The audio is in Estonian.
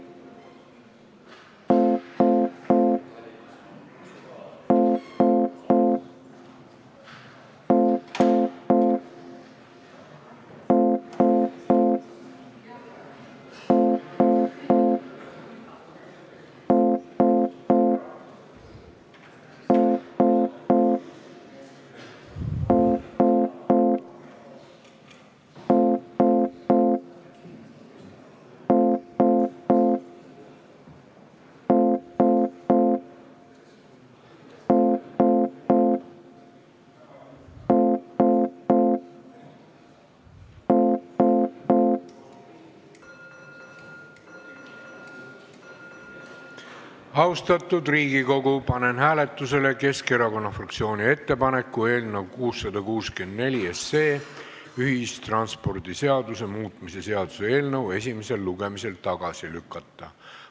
Austatud Riigikogu, panen hääletusele Keskerakonna fraktsiooni ettepaneku eelnõu 664, ühistranspordiseaduse muutmise seaduse eelnõu esimesel lugemisel tagasi lükata.